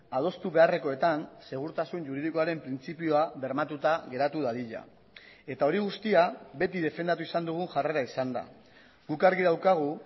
adostu beharrekoetan segurtasun juridikoaren printzipioa bermatuta geratu dadila eta hori guztia beti defendatu izan dugun jarrera izan da guk argi daukagu